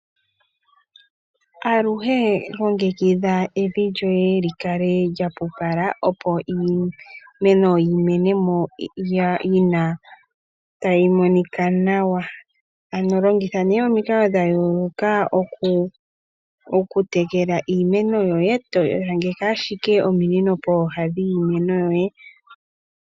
Aluhe longekikidha evi lyoye li kale lya pupala, opo iimeno yi mene tayi monika nawa. Longitha nee omikalo dha yooloka okutekela iimeno yoye to longitha ashike ominino pooha dhiimeno yoye.